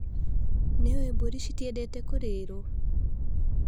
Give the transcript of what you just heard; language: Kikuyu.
Nĩũĩ mburi citiendete kurĩrũo.